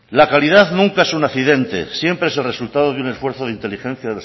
la calidad nunca es un accidente siempre es el resultado de un esfuerzo de inteligencia